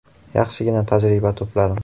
Yaxshigina tajriba to‘pladim.